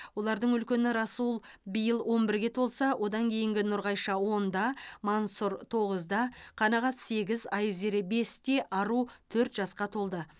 олардың үлкені расул биыл он бірге толса одан кейінгі нұрғайша онда мансұр тоғызда қанағат сегіз айзере бесте ару төрт жасқа толды